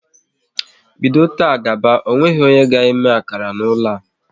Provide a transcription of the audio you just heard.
Bido taa gaba, ọ nweghị onye ga eme akara n'ụlọ a!